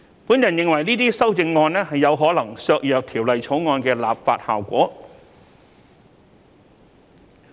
我認為這些修正案有可能削弱《條例草案》的立法效果。